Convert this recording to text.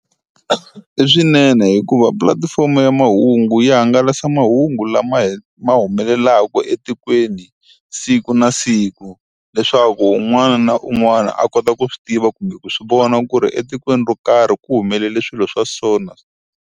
I swinene hikuva pulatifomo ya mahungu yi hangalasa mahungu lama ma humelelaka etikweni siku na siku leswaku un'wana na un'wana a kota ku swi tiva kumbe ku swi vona ku ri etikweni ro karhi ku humelele swilo swa sona.